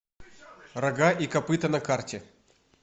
рога и копыта на карте